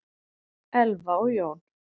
Elfa og Jón.